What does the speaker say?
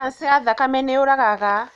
Kanja ya thakame nīyūragaga.